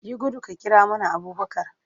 Yi gudu ka kira mana Abubakar!